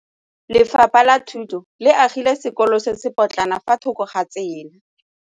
Lefapha la Thuto le agile sekôlô se se pôtlana fa thoko ga tsela.